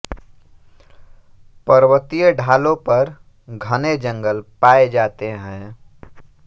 पर्वतीय ढालों पर घने जंगल पाए जाते हैं